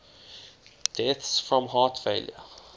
deaths from heart failure